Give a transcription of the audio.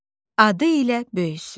Adı ilə böyüsün.